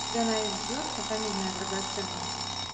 у тебя найдется фамильная драгоценность